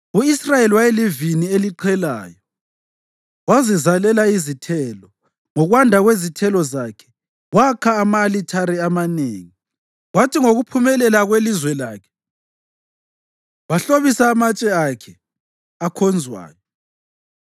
U-Israyeli wayelivini eliqhelayo, wazizalela izithelo. Ngokwanda kwezithelo zakhe wakha ama-alithare amanengi; kwathi ngokuphumelela kwelizwe lakhe wahlobisa amatshe akhe akhonzwayo.